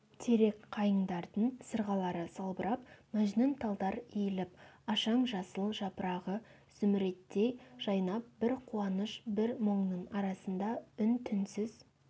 терек қайындардың сырғалары салбырап мәжнүн талдар иіліп ашаң жасыл жапырағы зүміреттей жайнап бір қуаныш бір мұңның арасында үн-түнсіз